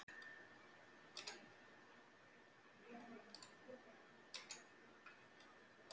Símon: Kom niðurstaðan þér á óvart?